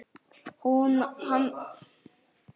Hann á ekkert gott skilið.